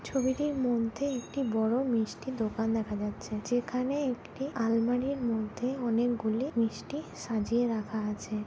ছবিটির মধ্যে একটি বড় মিষ্টির দোকান দেখা যাচ্ছে যেখানে একটি আলমারির মধ্যে অনেকগুলি মিষ্টি সাজিয়ে রাখা আছে।